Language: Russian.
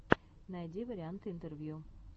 найди варианты интервью